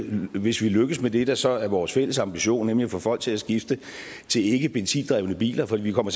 hvis vi lykkes med det der så er vores fælles ambition nemlig at få folk til at skifte til ikkebenzindrevne biler for vi kommer